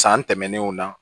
San tɛmɛnenw na